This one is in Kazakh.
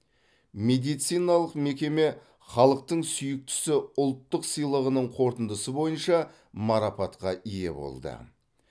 медициналық мекеме халықтың сүйіктісі ұлттық сыйлығының қорытындысы бойынша марапатқа ие болды